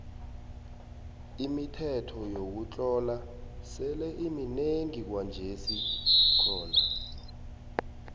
imithetho yokutlola sele iminengi kwanjesikhona